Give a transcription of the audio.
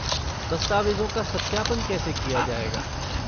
दस्तावेज़ों का सत्यापन कैसे किया जाएगा?